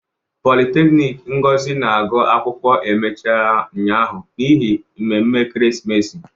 Politekiniiki Ngozi na-agụ akwụkwọ emechiela ụnyaahụ n'ihi mmemme ekeresimesi.